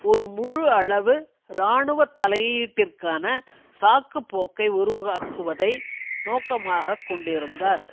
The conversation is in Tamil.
ஒரு முழு அளவு இராணுவ தலையீட்டிற்கான சாக்கு போக்கை உருவாக்குவதை நோக்கமாக கொண்டிருந்தார்